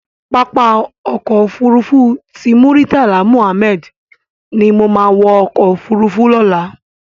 Pàápá Òkò Ófúrúfú ti Múritálá Múhámèd ni mó má wò òkò ófúrúfú lòlá